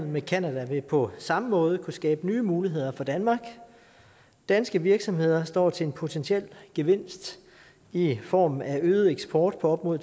med canada vil på samme måde kunne skabe nye muligheder for danmark danske virksomheder står til en potentiel gevinst i form af øget eksport på op mod